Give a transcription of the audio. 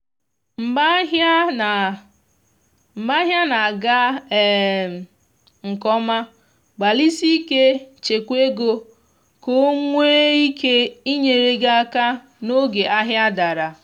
mgbe ahịa na mgbe ahịa na aga um nke ọma gbalịsie ike chekwaa ego ka o nwee ike inyere gị aka n’oge ahịa dara